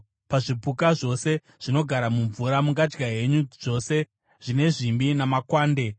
Pazvipuka zvose zvinogara mumvura, mungadya henyu zvose zvine zvimbi namakwande.